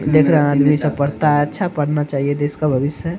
देख रहा है आदमी सब पढ़ता है अच्छा पढ़ना चाहिए देश का भविष्य है |